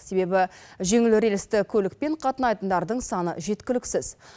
себебі жеңіл рельсті көлікпен қатынайтындардың саны жеткіліксіз